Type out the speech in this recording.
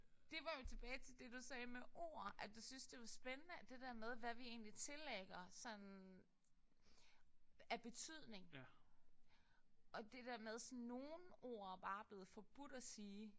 Det var jo tilbage til det du sagde med ord at du synes det var spændende det der med hvad vi egentlig tillægger sådan af betydning og det der med sådan nogle ord bare er blevet forbudt at sige